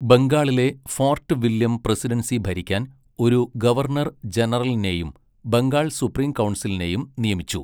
ബംഗാളിലെ Fort William presidency ഭരിക്കാൻ ഒരു ഗവർണർ ജനറലിനെയും ബംഗാൾ സുപ്രീം കൗൺസിലിനെയും നിയമിച്ചു.